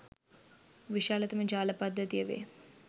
විශාලතම ජාල පද්ධතිය වේ